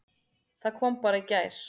Það kom bara í gær!